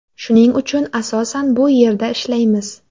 Shuning uchun asosan bu yerda ishlaymiz.